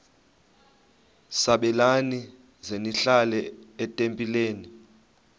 sabelani zenihlal etempileni